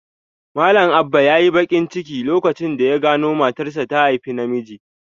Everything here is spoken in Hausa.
Malam Aba yayi bakin ciki lokacin da ya gano matarsa ta haifi namiji.